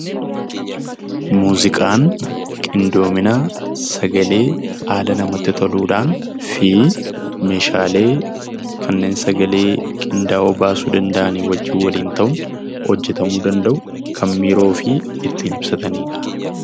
Muuziqaan qindoomina sagalee haala namatti toluudhaan fi meeshaalee kanneen sagalee qindaa'oo baasuu danda'anii wajjin waliin ta'uun hojjetamuu danda'u, kan miira ofii ittiin ibsatanii dha.